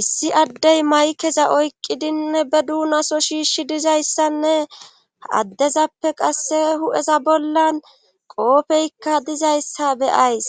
issi addey maykeza oyqqidinne be duunaso shiishi dizayssanne addezappe qasse hu7eza bollan qoopeykka dizayssa beyays